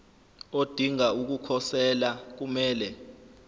odinga ukukhosela kumele